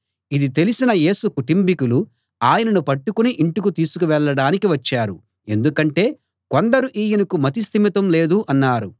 ఇది తెలిసిన యేసు కుటుంబీకులు ఆయనను పట్టుకుని ఇంటికి తీసుకు వెళ్ళడానికి వచ్చారు ఎందుకంటే కొందరు ఈయనకు మతి స్థిమితం లేదు అన్నారు